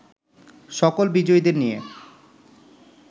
সকল বিজয়ীদের নিয়ে